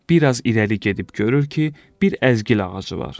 Bir az irəli gedib görür ki, bir əzgil ağacı var.